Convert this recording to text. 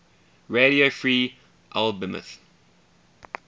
radio free albemuth